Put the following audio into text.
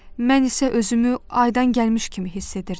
Mən isə özümü ayda gəlmiş kimi hiss edirdim.